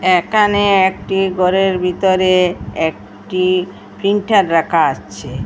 একানে একটি গরের বিতরে একটি ফ্রিন্টার রাখা আছে।